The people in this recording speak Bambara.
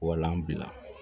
Wala an bila